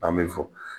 An bɛ fo